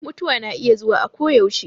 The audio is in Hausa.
Mutuwa na iya zuwa akoyaushe.